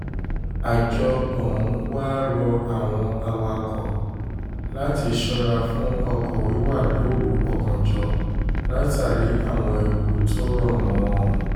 àjọ ọ̀hún wàá rọ àwọn awakọ̀ láti ṣọ́ra fún ọkọ̀ wíwà lóru ọ̀gànjọ́ látàrí àwọn ewu tó rọ̀ mọ́ ọn